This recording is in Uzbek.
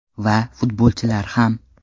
Va, futbolchilar ham.